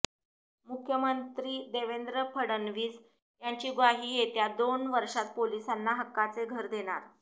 मुख्यमंत्री देवेंद्र फडणवीस यांची ग्वाही येत्या दोन वर्षात पोलिसांना हक्काचे घर देणार